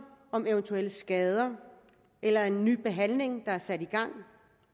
om eventuelle skader eller en ny behandling der er sat i gang